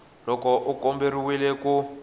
loko u nga komberiwa ku